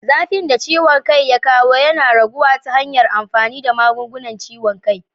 Zafin da ciwon kai ya kawo yana raguwa ta hanyar amfani da magungunan ciwon kai.